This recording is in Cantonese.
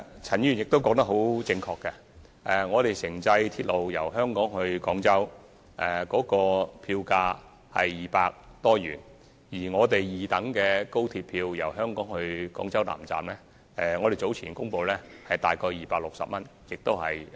陳議員說得對，城際鐵路由香港至廣州的票價是250元，而我們早前公布由香港至廣州南站的高鐵二等車票票價，則約為260元。